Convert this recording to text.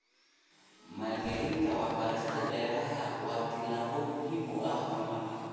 Maalgelinta waxbarashada beeraha waa tallaabo muhiim u ah horumarka.